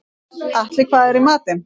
Atli, hvað er í matinn?